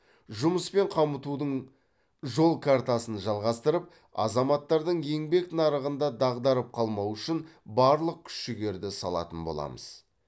жұмыспен қамтудың жол картасын жалғастырып азаматтардың еңбек нарығында дағдарып қалмауы үшін барлық күш жігерді салатын боламыз